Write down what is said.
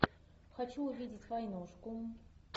хочу увидеть войнушку